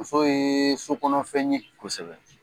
Muso yee sokɔnɔ fɛn ye. Kosɛbɛ.